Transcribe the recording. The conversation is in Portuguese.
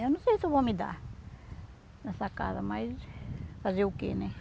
Eu não sei se eu vou me dar nessa casa, mas fazer o que, né?